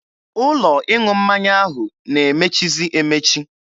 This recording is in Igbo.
Ụlọ ịṅụ mmanya ahụ na-emechizi emechi.